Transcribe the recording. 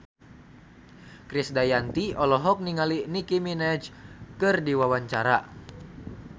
Krisdayanti olohok ningali Nicky Minaj keur diwawancara